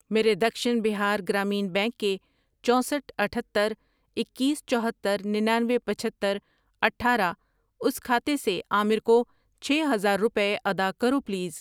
میرے دکشن بہار گرامین بینک کے چوسٹھ ،اتھتر، اکیس، چوہتر، ننانوے، پچہتر، اٹھارہ اس کھاتے سے عامر کو چھ ہزار روپے ادا کرو پلیز۔